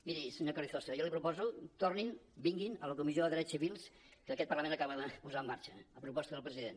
miri senyor carrizosa jo li proposo tornin vinguin a la comissió de drets ci·vils que aquest parlament acaba de posar en marxa a proposta del president